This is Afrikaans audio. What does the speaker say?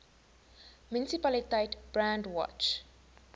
munisipaliteit brandwatch